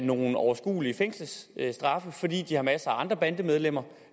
nogle overskuelige fængselsstraffe fordi de har masser af andre bandemedlemmer